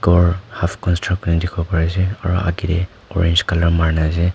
ghor aada bunaigena ase dihiwo pari ase aro agey teh orange colour marina ase.